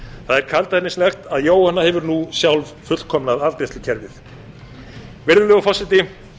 það er kaldhæðnislegt að jóhanna hefur nú sjálf fullkomnað afgreiðslukerfið virðulegur forseti